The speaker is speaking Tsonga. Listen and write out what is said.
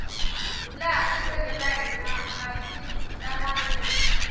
laha tikweni ra hina ati talangi